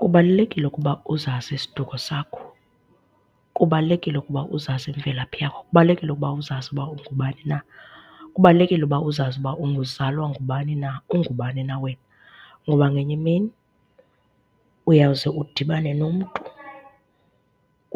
Kubalulekile ukuba uzazi isiduko sakho, kubalulekile ukuba uzazi imvelaphi yakho, kubalulekile uba uzazi uba ungubani na. Kubalulekile uba uzazi uba uzalwa ngubani na, ungubani na wena. Ngoba ngenye imini uyawuze udibane nomntu